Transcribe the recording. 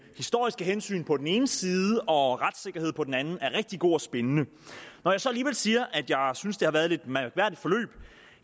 historiske hensyn på den ene side og retssikkerhed på den anden er rigtig god og spændende når jeg så alligevel siger at jeg synes det har været